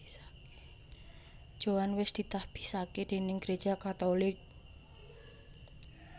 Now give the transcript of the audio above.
Joan wés ditahbisaké déning Gereja Katolik